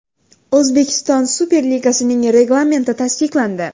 O‘zbekiston Super Ligasining reglamenti tasdiqlandi.